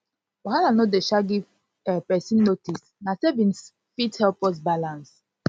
wahala no dey um give um pesin notice na savings fit help us balance